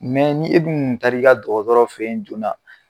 ni e dun kun tarr'i ka dɔgɔtɔrɔ feyi joona.